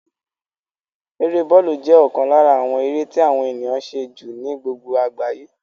Eré bọ́lù jẹ́ ọ̀kan lára àwọn eré tí àwọn ènìyàn ń ṣe jù ní gbogbo àgbáyé